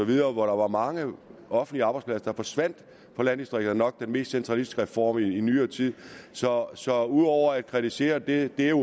der var mange offentlige arbejdspladser der forsvandt fra landdistrikterne nok den mest centralistiske reform i nyere tid så så ud over at kritisere og det er